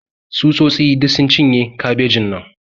Tsutsotsi duk sun cinye kabejin nan.